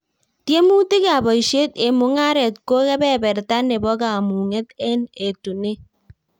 Tiemutikab boishet eng mung'aret ko kebeberta nebo kamang'unet eng etunet